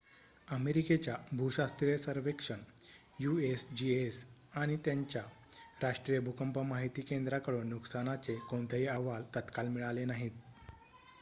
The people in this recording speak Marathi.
अमेरिकेच्या भूशास्त्रीय सर्वेक्षण यूएसजीएस आणि त्याच्या राष्ट्रीय भूकंप माहिती केंद्राकडून नुकसानाचे कोणतेही अहवाल तत्काळ मिळाले नाहीत